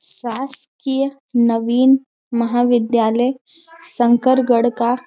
शासकीय नवीन महाविद्यालय संकरगढ़ का--